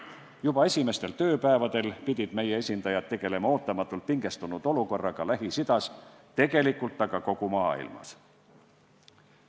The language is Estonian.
Juba esimestel tööpäevadel pidid meie esindajad tegelema ootamatult pingestunud olukorraga Lähis-Idas, tegelikult kogu maailmas.